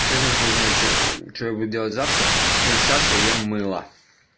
честно хуй знает что что я буду делать завтра но сейчас я ем мыло